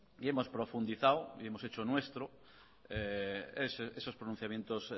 y hemos profundizado y hemos hecho nuestros esos pronunciamientos